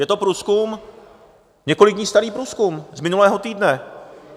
Je to průzkum, několik dní starý průzkum z minulého týdne.